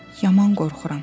Yaman qorxuram.